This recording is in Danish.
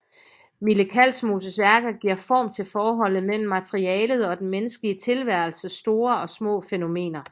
Mille Kalsmoses værker giver form til forholdet mellem materialitet og den menneskelige tilværelses store og små fænomener